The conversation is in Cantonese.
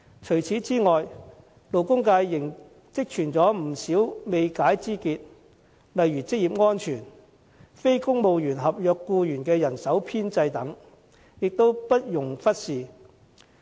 除此之外，勞工界仍積存不少未解之結，例如職業安全、非公務員合約僱員的人手編制等，也不容忽視。